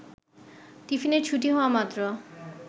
টিফিনের ছুটি হওয়ামাত্র